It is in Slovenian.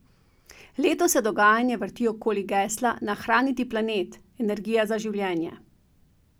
Letos se dogajanje vrti okoli gesla Nahraniti planet, energija za življenje.